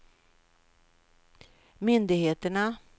myndigheterna